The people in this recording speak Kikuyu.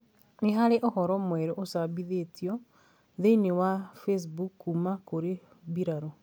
Nĩ harĩ na ũhoro mwerũ úcabithitio thi-inĩ wa Facebook kuuma kũrĩ birarũ